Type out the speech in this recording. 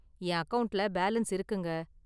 என் அக்கவுண்ட்ல பேலன்ஸ் இருக்குங்க.